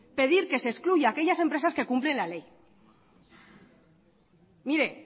pedir que se excluyan aquellas empresas que cumplen la ley mire